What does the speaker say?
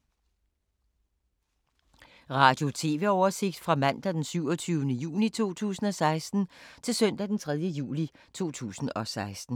Radio/TV oversigt fra mandag d. 27. juni 2016 til søndag d. 3. juli 2016